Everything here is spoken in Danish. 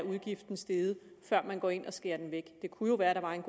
steget før man går ind og skærer den væk det kunne jo være at der var en